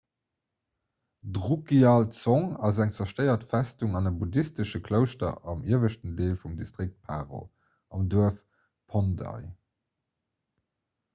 d'drukgyal dzong ass eng zerstéiert festung an e buddhistesche klouschter am ieweschten deel vum distrikt paro am duerf phondey